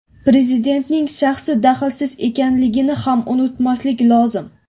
Prezidentning shaxsi dahlsiz ekanligini ham unutmaslik lozim.